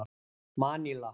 Maníla